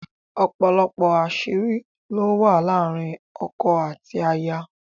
òpòlopò aṣiri ló wà láàrin ọkọ àti aya.